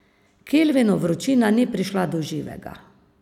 Kilvinu vročina ni prišla do živega.